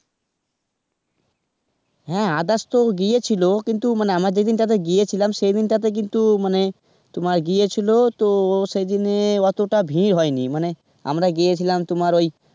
হ্যাঁ, others তো গিয়েছিলো কিন্তু আমরা যেদিনটাতে গিয়েছিলাম সেদিনটাতে কিন্তু মানে তোমার গিয়েছিল তো সেদিনে ওতটা ভিড় হয়নি, মানে আমরা গিয়েছিলাম তোমার ওই.